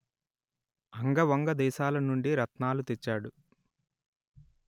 అంగ వంగ దేశాలనుండి రత్నాలు తెచ్చాడు